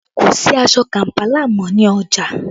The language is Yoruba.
Kò sí aṣọ Kampala mọ́ ní ọjà